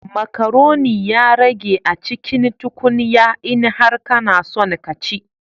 Macaroni ya rage a cikin tukunya, in har kana son ka ci